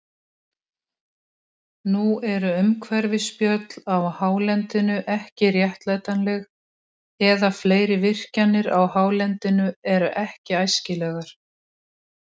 Nú eru umhverfisspjöll á hálendinu ekki réttlætanleg, eða fleiri virkjanir á hálendinu eru ekki æskilegar.